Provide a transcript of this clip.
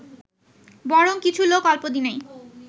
বরং কিছু লোক অল্পদিনেই